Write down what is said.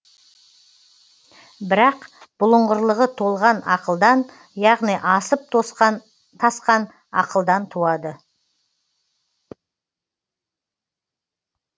бірақ бұлыңғырлығы толған ақылдан яғни асып тасқан ақылдан туады